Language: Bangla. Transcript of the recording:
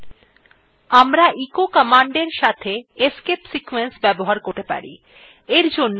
আমরা echo command সঙ্গে escape sequence ব্যবহার করতে পারি